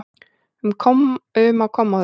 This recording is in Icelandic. um á kommóðu.